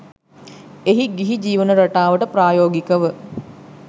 එය ගිහි ජීවන රටාවට ප්‍රායෝගිකව